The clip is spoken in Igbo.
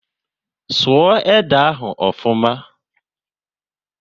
Sụọ ede ahu ofuma!